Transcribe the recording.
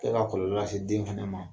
E ka kɔlɔlɔ se dentigiw ma.